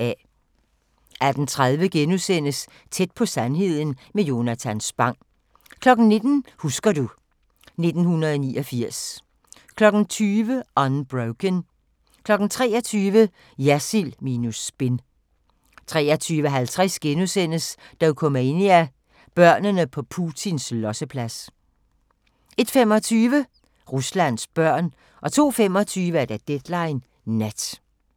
18:30: Tæt på sandheden med Jonatan Spang * 19:00: Husker du ... 1989 20:00: Unbroken 23:00: Jersild minus spin 23:50: Dokumania: Børnene på Putins losseplads * 01:25: Ruslands børn 02:25: Deadline Nat